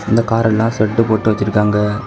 இந்த காரெல்லாம் செட் போட்டு வச்சிருக்காங்க.